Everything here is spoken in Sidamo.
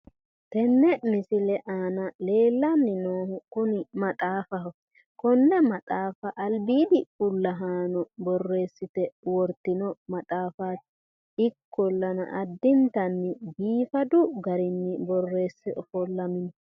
Tenne misile aana leellanni noohu maxaafaho. konne maxaafa albiidi fullahaano borreessite wortino maxaafaati. Ikkollana addimtanni biifadu garinni borreesse ofollamino.